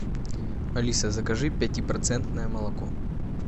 алиса закажи пятипроцентное молоко